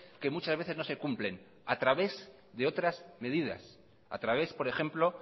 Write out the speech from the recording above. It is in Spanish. que muchas veces no se cumplen a través de otras medidas a través por ejemplo